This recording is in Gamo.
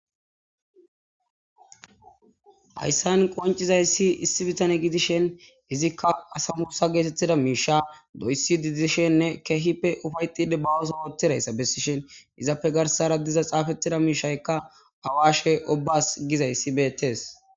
Hayssan qoncizayssi issi bitane gidishen izikka asamusa geetettida miisha doyssi didishenne keehippe ufayxide bawoso oottidayssa bessishin izappe garsara diza xaafettida miishaykka awashe obas gizayssi beettees.